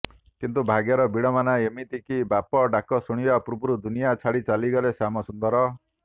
କିନ୍ତୁ ଭାଗ୍ୟର ବିଡ଼ମ୍ବନା ଏମିତି କି ବାପା ଡ଼ାକ ଶୁଣିବା ପୂର୍ବରୁ ଦୁନିଆ ଛାଡ଼ି ଚାଲି ଗଲେ ଶ୍ୟାମସୁନ୍ଦର